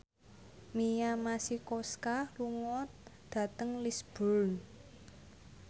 Mia Masikowska lunga dhateng Lisburn